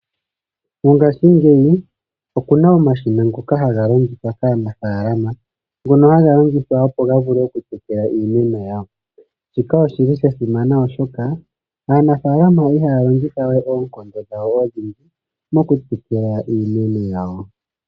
Mongashingeyi okuna omashina ngoka haga longithwa kaanafalama, ngono haga longithwa opo gavule okutekela iimeno yawo, shika oshili sha simana oshoka aanafalama ihaya longithawe oonkondo dhawo odhindji mo kutekela iimeno yawo.